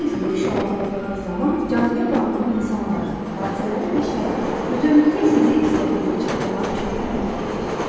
Bu tezliyi şüalandırdığınız zaman cazibə qanunu insanları, hadisələri və şəraiti bütövlükdə sizi istədiyinizə çatdırmaq üçün hərəkətə keçirir.